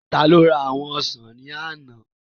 Taló ra àwọn ọsàn ní àná?